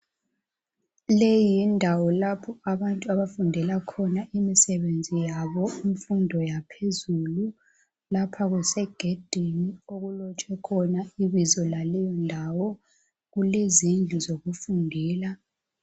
Le yindawo lapho abantu abafundela khona imisebenzi yabo imfundo yaphezulu lapha kusegedini okulotshwe khona ibizo laleyo ndawo kulezindlu zokufundela.